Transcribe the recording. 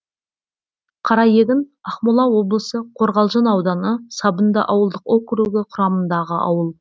қараегін ақмола облысы қорғалжын ауданы сабынды ауылдық округі құрамындағы ауыл